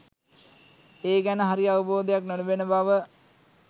ඒ ගැන හරි අවබෝධයක් නොලැබෙන බව.